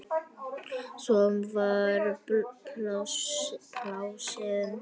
Svo var blásið í.